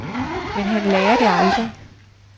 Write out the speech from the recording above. Men han lærer det aldrig.